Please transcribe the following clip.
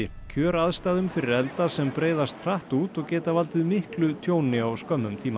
kjöraðstæðum fyrir elda sem breiðast hratt út og geta valdið miklu tjóni á skömmum tíma